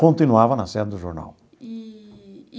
Continuava na sede do jornal. Eee e.